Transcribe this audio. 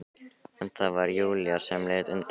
En það var Júlía sem leit undan.